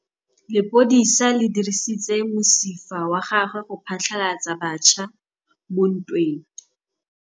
Lepodisa le dirisitse mosifa wa gagwe go phatlalatsa batšha mo ntweng.